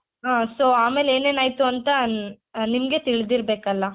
ಹ so ಆಮೇಲೆನೇನಾಯಿತು ಅಂತ ನಿಮ್ಗೆ ತಿಳ್ದಿರ್ಬೇಕಲ್ಲ